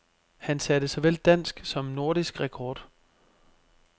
Han satte såvel dansk som nordisk rekord.